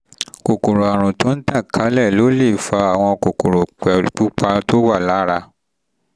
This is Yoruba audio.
kòkòrò àrùn tó tàn kálẹ̀ ló um lè fa àwọn kókó pupa um tó wà lára